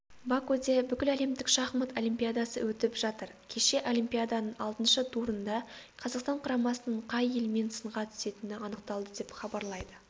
бакуде бүкіләлемдік шахмат олимпиадасы өтіп жатыр кеше олимпиаданың алтыншы турында қазақстан құрамасының қай елмен сынға түсетіні анықталды деп хабарлайды